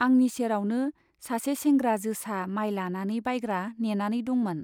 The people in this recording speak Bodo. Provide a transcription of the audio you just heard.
आंनि सेरावनो सासे सेंग्रा जोसा माय लानानै बायग्रा नेनानै दंमोन।